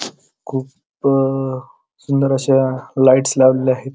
खूप अ सुंदर अश्या लाइटस लावलेल्या आहेत.